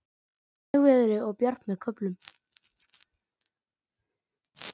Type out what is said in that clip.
Hægviðri og bjart með köflum